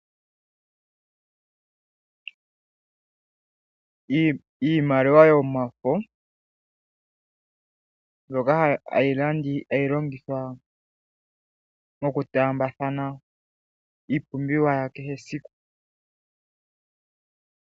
Iimaliwa yomafo mbyoka hayi longithwa mokutaambathana iipumbiwa ya kehe esiku.